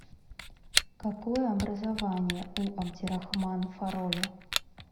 какое образование у абдирахман фароле